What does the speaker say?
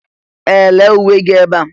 Ee! Lee uwe gị ebe a.